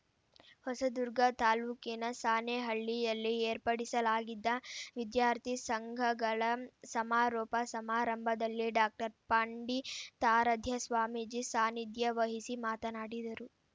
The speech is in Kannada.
ಹೊಸದುರ್ಗ ತಾಲೂಕಿನ ಸಾಣೆಹಳ್ಳಿಯಲ್ಲಿ ಏರ್ಪಡಿಸಲಾಗಿದ್ದ ವಿದ್ಯಾರ್ಥಿ ಸಂಘಗಳ ಸಮಾರೋಪ ಸಮಾರಂಭದಲ್ಲಿ ಡಾಕ್ಟರ್ ಪಂಡಿತಾರಾಧ್ಯ ಸ್ವಾಮೀಜಿ ಸಾನಿಧ್ಯವಹಿಸಿ ಮಾತನಾಡಿದರು